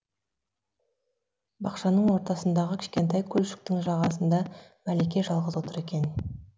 бақшаның ортасындағы кішкентай көлшіктің жағасында мәлике жалғыз отыр екен